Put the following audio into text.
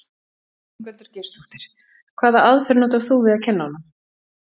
Ingveldur Geirsdóttir: Hvaða aðferð notar þú við að kenna honum?